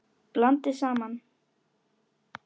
Blandið saman.